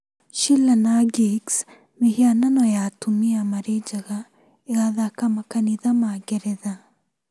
Sheela-na-gigs: Mĩhianano ya atumia marĩ njaga ĩgathaka makanitha ma Ngeretha